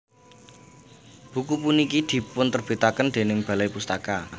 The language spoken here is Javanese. Buku puniki dipunterbitaken déning Balai Pustaka